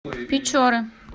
печоры